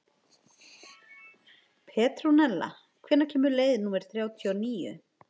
Petrúnella, hvenær kemur leið númer þrjátíu og níu?